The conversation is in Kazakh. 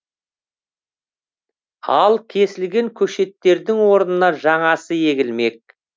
ал кесілген көшеттердің орнына жаңасы егілмек